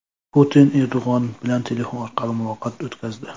Putin Erdo‘g‘on bilan telefon orqali muloqot o‘tkazdi.